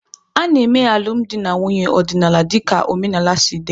A na-eme alụmdi na nwunye ọdịnala dịka omenala si dị.